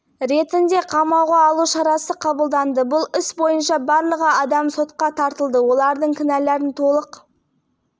оның айтуынша қылмыстық іс астам томнан тұрады күдіктінің үшеуі өздерінің кінәсін мойындамады оның ішінде бишімбаевтың өзі